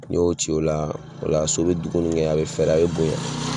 N'i y'o ci ola o la so be dumuni kɛ a be fɛrɛ a be bonyan